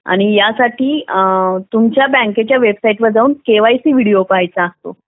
आणि यासाठी तुमच्या बँकेत तुमच्या बँकेच्या वेबसाईटवर जाऊ केवायसी व्हिडिओ पाहायचा असतो